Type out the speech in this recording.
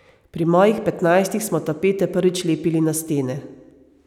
Pri mojih petnajstih smo tapete prvič lepili na stene.